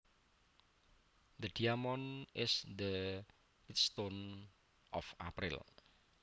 The diamond is the birthstone of April